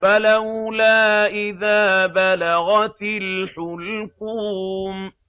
فَلَوْلَا إِذَا بَلَغَتِ الْحُلْقُومَ